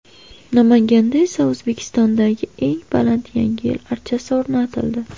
Namanganda esa O‘zbekistondagi eng baland Yangi yil archasi o‘rnatildi.